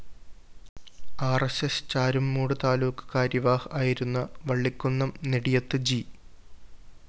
R S S Charummood taluk karyavah ആയിരുന്ന Vallikunnam Nediyath G